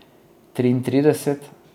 Triintrideset?